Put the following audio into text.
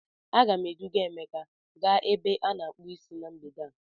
A ga m eduga emeka gaa ebe a na-akpu Ịsị na mgbede a.